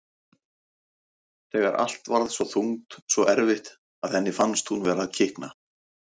Þegar allt varð svo þungt, svo erfitt, að henni fannst hún vera að kikna.